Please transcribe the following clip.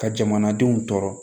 Ka jamanadenw tɔɔrɔ